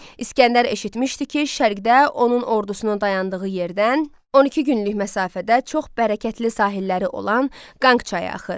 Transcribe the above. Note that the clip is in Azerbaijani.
İsgəndər eşitmişdi ki, şərqdə onun ordusunun dayandığı yerdən 12 günlük məsafədə çox bərəkətli sahilləri olan Qanq çayı axır.